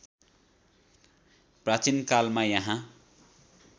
प्राचीन कालमा यहाँ